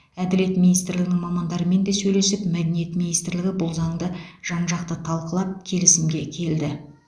әділет министрлігінің мамандарымен де сөйлесіп мәдениет министрлігі бұл заңды жан жақты талқылап келісімге келді